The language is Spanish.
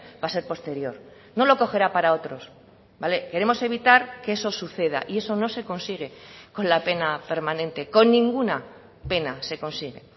va a ser posterior no lo cogerá para otros vale queremos evitar que eso suceda y eso no se consigue con la pena permanente con ninguna pena se consigue